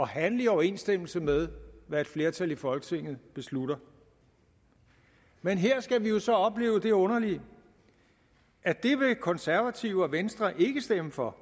handle i overensstemmelse med hvad et flertal i folketinget beslutter men her skal vi jo så opleve det underlige at det vil konservative og venstre ikke stemme for